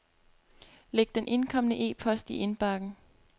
Læg den indkomne e-post i indbakken.